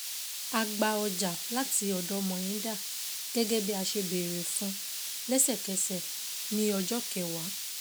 A gba ọjà láti ọ̀dọ̀ Mohinder gẹ́gẹ́ bí a ṣe béèrè fún lẹ́sẹ̀kẹsẹ̀ ní ọjọ́ kẹwàá.